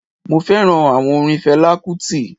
Mo féràn áwon orin felá kútì